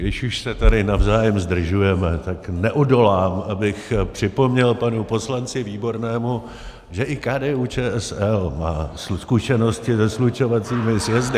Když už se tady navzájem zdržujeme, tak neodolám, abychom připomněl panu poslanci Výbornému, že i KDU-ČSL má zkušenosti se slučovacími sjezdy.